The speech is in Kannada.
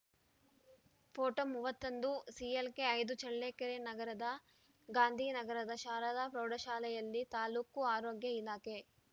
ಪೋಟೋ ಮೂವತ್ತ್ ಒಂದು ಸಿಎಲ್‌ಕೆ ಐದು ಚಳ್ಳಕೆರೆ ನಗರದ ಗಾಂಧಿ ನಗರದ ಶಾರದ ಪ್ರೌಢಶಾಲೆಯಲ್ಲಿ ತಾಲ್ಲೂಕು ಆರೋಗ್ಯ ಇಲಾಖೆ